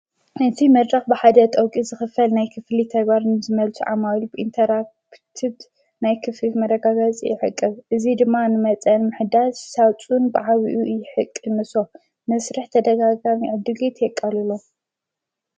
ነቱይ መራኽ ብሓደ ጠውቂ ዝኽፈል ናይ ክፍሊ ተይጓርን ዝመልቲ ዓማሉብኢንተራትድ ናይ ክፍፍ መረጋበጽ የሕቅብ እዙ ድማ ንመጸን ምሕዳት ሳውፁን ብሓዊኡ እሕቅምሶ መሥርሕ ተደጋጋም ዕድጌት የቀልሎ።